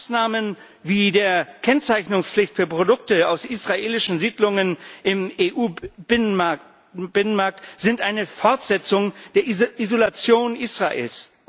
Maßnahmen wie die Kennzeichnungspflicht für Produkte aus israelischen Siedlungen im EU Binnenmarkt sind eine Fortsetzung der Isolation Israels.